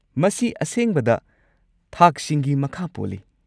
ꯃꯁꯤ ꯑꯁꯦꯡꯕꯗ ꯊꯥꯛꯁꯤꯡꯒꯤ ꯃꯈꯥ ꯄꯣꯜꯂꯤ꯫